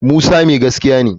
Musa mai gaskiya ne